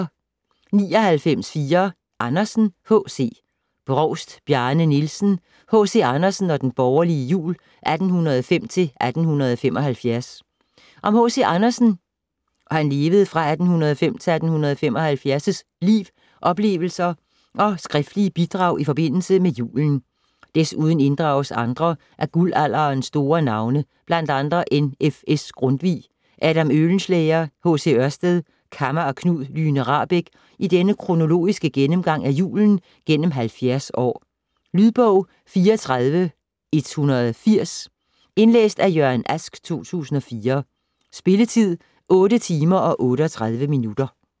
99.4 Andersen, H. C. Brovst, Bjarne Nielsen: H.C. Andersen og den borgerlige jul: 1805-1875 Om H.C. Andersens (1805-1875) liv, oplevelser og skriftlige bidrag i forbindelse med julen. Desuden inddrages andre af guldalderens store navne, bl.a. N.F.S. Grundtvig, Adam Oehlenschlæger, H.C. Ørsted, Kamma og Knud Lyhne Rahbek i denne kronologiske gennemgang af julen gennem 70 år. Lydbog 34180 Indlæst af Jørgen Ask, 2004. Spilletid: 8 timer, 38 minutter.